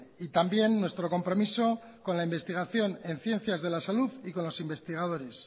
y también nuestro compromiso con la investigación en ciencias de la salud y con los investigadores